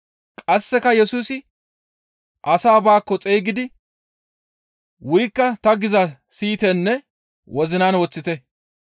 Qasseka Yesusi asaa baakko xeygidi, «Wurikka ta gizaa siyitenne wozinan woththite.